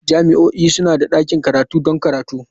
Jami'o'i suna da ɗakin karatu don karatu.